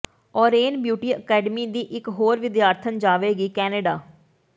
ਓਰੇਨ beauty academy ਦੀ ਇਕ ਹੋਰ ਵਿਦਿਆਰਥਣ ਜਾਵੇਗੀ ਕੈਨੇਡਾ